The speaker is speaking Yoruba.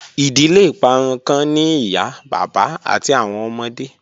Idile iparun kan ni iya baba ati awọn ọmọde